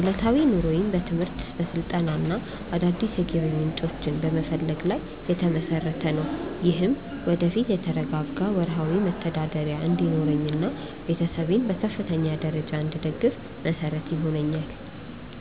ዕለታዊ ኑሮዬም በትምህርት፣ በስልጠናና አዳዲስ የገቢ ምንጮችን በመፈለግ ላይ የተመሰረተ ነው። ይህም ወደፊት የተረጋጋ ወርሃዊ መተዳደሪያ እንዲኖረኝና ቤተሰቤን በከፍተኛ ደረጃ እንድደግፍ መሰረት ይሆነኛል።